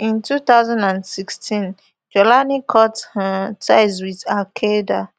in two thousand and sixteen jawlani cut um ties wit alqaeda